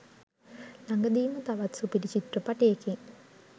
ළඟදීම තවත් සුපිරි චිත්‍රපටයකින්